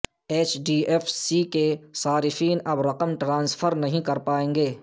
H D F C کے صارفین اب رقم ٹرانسفر نہیں کر پائیں گے